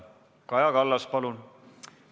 Kaja Kallas, palun!